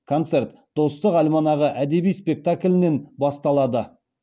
концерт достық альманағы әдеби спектаклінен басталады